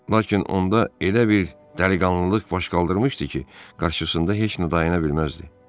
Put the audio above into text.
Lakin onda elə bir dəliqanlılıq baş qaldırmışdı ki, qarşısında heç nə dayana bilməzdi.